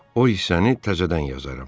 O isəni təzədən yazaram.